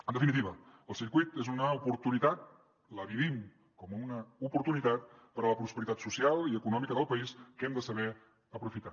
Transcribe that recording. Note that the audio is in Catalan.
en definitiva el circuit és una oportunitat ho vivim com una oportunitat per a la prosperitat social i econòmica del país que hem de saber aprofitar